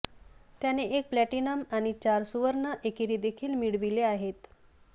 त्याने एक प्लॅटिनम आणि चार सुवर्ण एकेरी देखील मिळविले आहेत